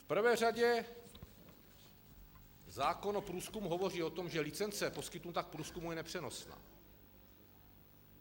V prvé řadě zákon o průzkumu hovoří o tom, že licence poskytnutá k průzkumu je nepřenosná.